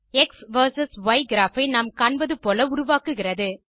X versus Y graph ஐ நாம் காண்பது போல உருவாக்குகிறது